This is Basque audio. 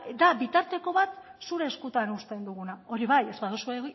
da bitarteko bat zure eskutan uzten duguna hori bai ez baduzu